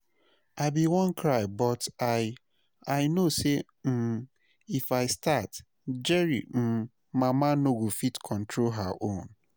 I bin wan cry but I I know say um if I start, Jerry um mama no go fit control her own